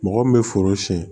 Mɔgɔ min bɛ foro siɲɛ